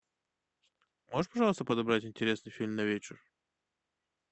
можешь пожалуйста подобрать интересный фильм на вечер